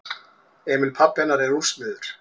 Emil pabbi hennar er úrsmiður.